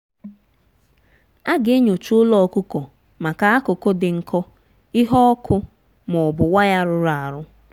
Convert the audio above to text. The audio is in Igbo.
a ga-enyocha ụlọ ọkụkọ maka akụkụ dị nkọ ihe ọkụ ma ọ bụ waya rụrụ arụ.